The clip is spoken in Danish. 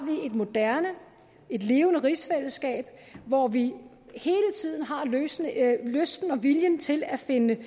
et moderne et levende rigsfællesskab hvor vi hele tiden har lysten lysten og viljen til at finde